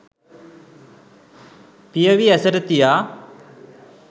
පියවි ඇසට තියා